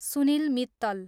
Sunil Mittal